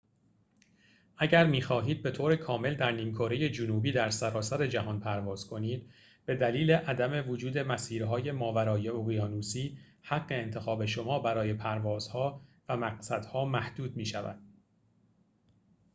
اگر می‌خواهید به‌طور کامل در نیم‌کره جنوبی در سراسر جهان پرواز کنید به دلیل عدم وجود مسیرهای ماورای اقیانوسی حق انتخاب شما برای پروازها و مقصدها محدود می‌شود